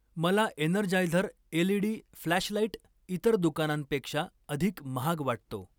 मला Energizer LED flashlight इतर दुकानांपेक्षा अधिक महाग वाटतो.